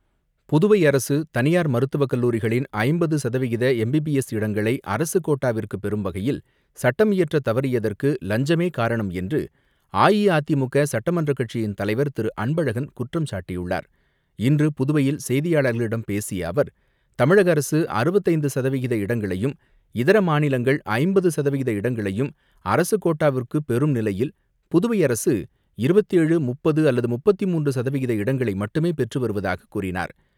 புதுவை அரசு தனியார் மருத்துவக் கல்லூரிகளின் ஐம்பது சதவிகித எம்பிபி எஸ் இடங்களை அரசுக் கோட்டாவிற்கு பெறும் வகையில் சட்டம் இயற்ற தவறியதற்கு லஞ்சமே காரணம் என்று அஇஅதிமுக சட்டமன்ற கட்சியின் தலைவர் திரு அன்பழகன் குற்றம் சாட்டியுள்ளார் இன்று புதுவையில் செய்தியாளர்களிடம் பேசிய அவர் தமிழக அரசு அறுபத்தைந்து சதவிகித இடங்களையும் இதர மாநிலங்கள் ஐம்பது சதவிகித இடங்களையும் அரசு கோட்டாவிற்கு பெறும் நிலையில் புதுவை அரசு இருபத்த ஏழு முப்பது அல்லது முப்பத்தி மூன்று சதவிகித இடங்களை மட்டுமே பெற்று வருவதாகக் கூறினார்.